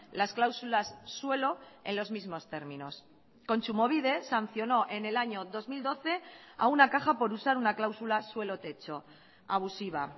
las cláusulas suelo en los mismos términos kontsumobide sancionó en el año dos mil doce a una caja por usar una cláusula suelo techo abusiva